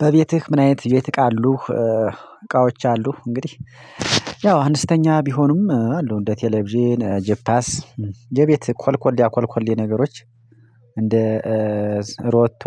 በቤትህ ምን አይነት የቤት እቃ አሉህ እቃዎች አሉህ እንግዲህ ያው አነስተኛ ቢሆኑም አሉ እንደ ቴሌቪዥን ጂፓስ የቤት ኮልኮሌያ ኮልኮሌ ነገሮች እንደ ሮቶ